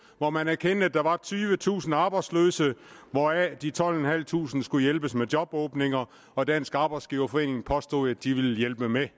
hvor man erkendte at der var tyvetusind arbejdsløse hvoraf de tolvtusinde skulle hjælpes med jobåbninger og dansk arbejdsgiverforening påstod at de ville hjælpe med